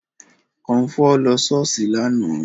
Kọmfọ́ lọ ṣọ́ọ̀ṣì lánàá